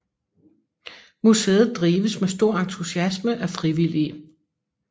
Museet drives med stor entusiasme af frivillige